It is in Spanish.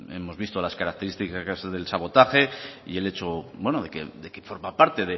hemos visto las características en el caso del sabotaje y el hecho de que forma parte